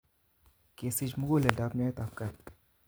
Kesich muguleldap nyoetapkat